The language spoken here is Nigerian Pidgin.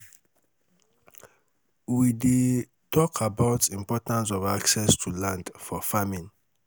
we dey tok about importance of access to land for farming.